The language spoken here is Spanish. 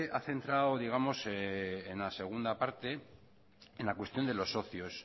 ha pensado digamos en la segunda parte una cuestión de los socios